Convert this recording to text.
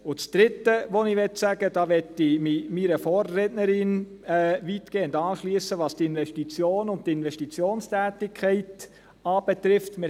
Das Dritte, was ich sagen möchte – da möchte ich mich, was die Investitionen und die Investitionstätigkeit angeht, meiner Vorrednerin weitgehend anschliessen: